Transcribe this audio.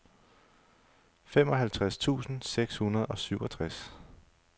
femoghalvtreds tusind seks hundrede og syvogtres